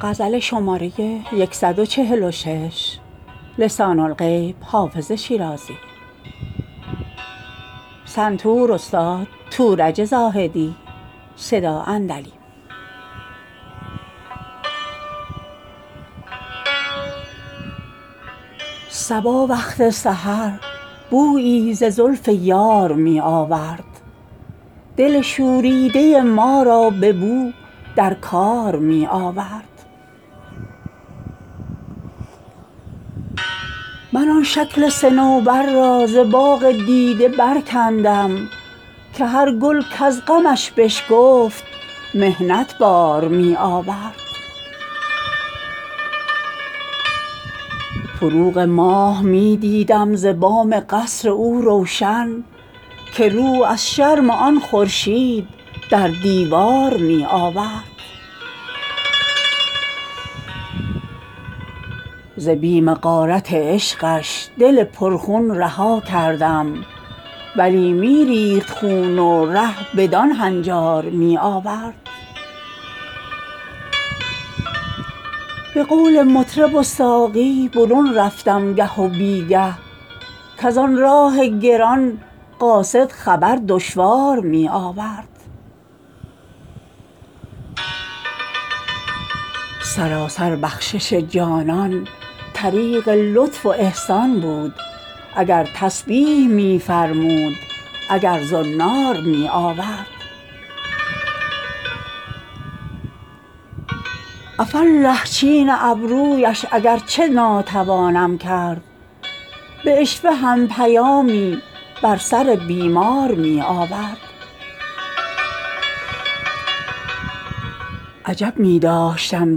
صبا وقت سحر بویی ز زلف یار می آورد دل شوریده ما را به نو در کار می آورد من آن شکل صنوبر را ز باغ دیده برکندم که هر گل کز غمش بشکفت محنت بار می آورد فروغ ماه می دیدم ز بام قصر او روشن که رو از شرم آن خورشید در دیوار می آورد ز بیم غارت عشقش دل پرخون رها کردم ولی می ریخت خون و ره بدان هنجار می آورد به قول مطرب و ساقی برون رفتم گه و بی گه کز آن راه گران قاصد خبر دشوار می آورد سراسر بخشش جانان طریق لطف و احسان بود اگر تسبیح می فرمود اگر زنار می آورد عفاالله چین ابرویش اگر چه ناتوانم کرد به عشوه هم پیامی بر سر بیمار می آورد عجب می داشتم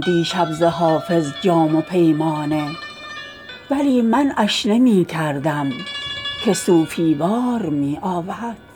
دیشب ز حافظ جام و پیمانه ولی منعش نمی کردم که صوفی وار می آورد